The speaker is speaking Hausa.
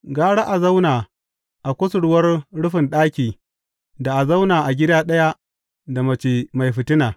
Gara a zauna a kusurwar rufin ɗaki da a zauna a gida ɗaya da mace mai fitina.